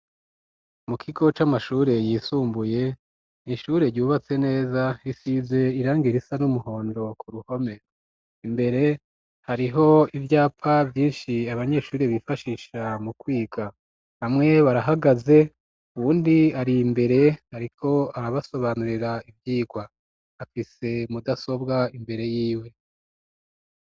Mu kigo c'amashure yisumbuye, n'ishure ryubatse neza, isize irangi risa n'umuhondo ku ruhome, imbere hariho ivyapa vyinshi abanyeshuri bifashisha mu kwiga, bamwe barahagaze, uwundi ar'imbere ariko arabasobanurira ivyigwa, afise mudasobwa imbere yiwe.